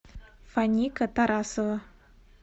фаника тарасова